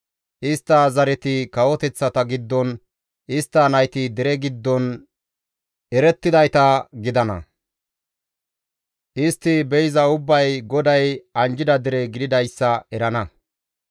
Istta zareti kawoteththata giddon, istta nayti dere giddon erettidayta gidana; istti be7iza ubbay GODAY anjjida dere gididayssa erana;